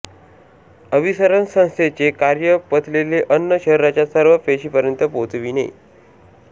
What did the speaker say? अभिसरण संस्थेचे कार्य पचलेले अन्न शरीराच्या सर्व पेशीपर्यंत पोहोचविणे